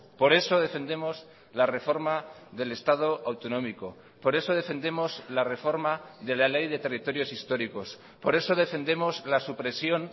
por eso defendemos la reforma del estado autonómico por eso defendemos la reforma de la ley de territorios históricos por eso defendemos la supresión